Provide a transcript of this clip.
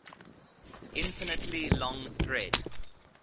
infinitely long thread